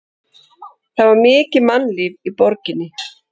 Það var mikið mannlíf í borginni.